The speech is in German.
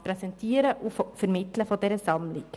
Das Präsentieren und Vermitteln dieser Sammlung.